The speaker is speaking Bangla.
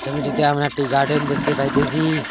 ছবিটিতে আমরা একটি গার্ডেন দেখতে পাইতেসি।